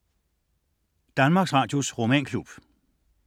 DR romanklub